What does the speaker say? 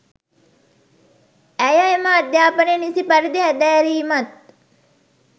ඇය එම අධ්‍යාපනය නිසි පරිදි හැදෑරීමත්